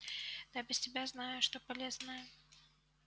да без тебя знаю что полезное